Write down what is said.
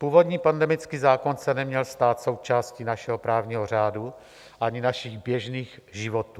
Původní pandemický zákon se neměl stát součástí našeho právního řádu ani našich běžných životů.